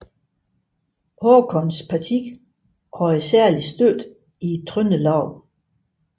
Håkons parti havde særlig støtte i Trøndelag